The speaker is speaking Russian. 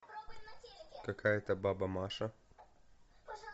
какая то баба маша